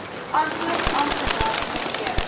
antwoord amptenaar mnr